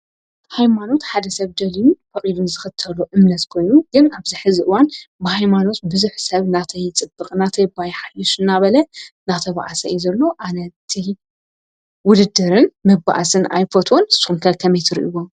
ሃይማኖት ሓደ ሰብ ደልዩን ፈቂዱን ዝኽተሎ እምነት ኮይኑ ግን ኣብዚ ሕዚ እዋን ብሃይማኖት ብዙሕ ሰብ ናተይ ይፅብቕ ናተይ ባ ይሓይሽ እናበለ እናተብአሰ ስለዘሎ ኣነቲ ውድድርን መባኣስን ኣይፈትዎን። ንስኩም ከ ከመይ ትሪእዎ?